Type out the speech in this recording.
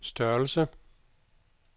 størrelse